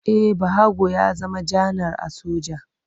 E, Bahago ya zama janar a soja.